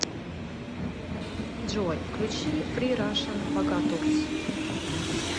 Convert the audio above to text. джой включи фри рашн богатурс